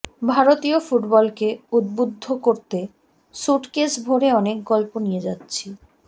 ভারতীয় ফুটবলকে উদ্বুদ্ধ করতে স্যুটকেস ভরে অনেক গল্প নিয়ে যাচ্ছি